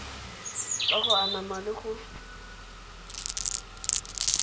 ka go anama le go